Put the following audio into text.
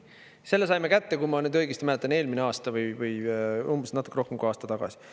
Selle saime kätte, kui ma nüüd õigesti mäletan, eelmine aasta või umbes natuke rohkem kui aasta tagasi.